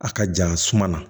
A ka jan suma na